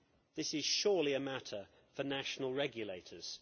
This is surely a matter for national regulators.